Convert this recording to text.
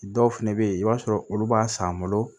Dɔw fɛnɛ be yen i b'a sɔrɔ olu b'a san an bolo